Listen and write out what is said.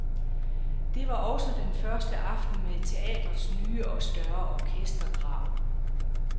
Det var også den første aften med teatrets nye og større orkestergrav.